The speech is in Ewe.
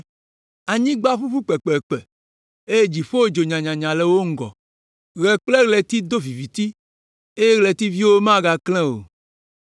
Anyigba ʋuʋu kpekpekpe eye dziƒo dzo nyanyanya le wo ŋgɔ. Ɣe kple ɣleti do viviti eye ɣletiviwo megaklẽ o.